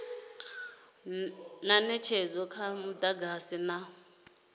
na netshedzo ya mudagasi na